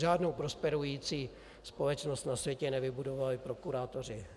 Žádnou prosperující společnost na světě nevybudovali prokurátoři.